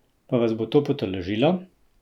Pa vas bo to potolažilo?